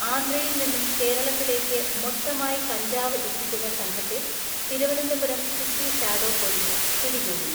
ആന്ധ്രയിൽ നിന്നും കേരളത്തിലേക്ക് മൊത്തമായി കഞ്ചാവ് എത്തിക്കുന്ന സംഘത്തെ തിരുവനന്തപുരം സിറ്റി ഷാഡോ പൊലീസ് പിടികൂടി.